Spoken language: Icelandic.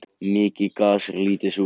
Mikið gas en lítið súrefni